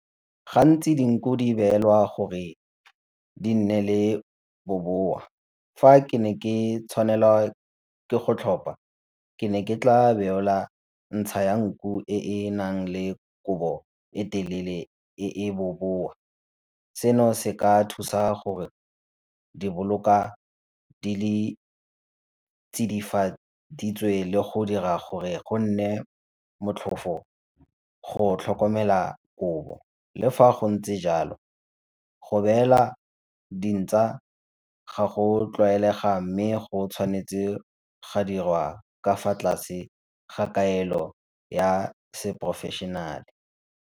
Gantsi dinku di beolwa gore di nne le bobowa, fa ke ne ke tshwanelwa ke go tlhopha ke ne ke tla beola ya nku e e nang le kobo e telele e e bobowa. Seno se ka thusa gore diboloka di le tsidifaditswe le go dira gore go nne motlhofo go tlhokomela kobo. Le fa go ntse jalo go beela di ga go a tlwaelega mme go tshwanetse ga dirwa ka fa tlase ga kaelo ya se porofeshenale.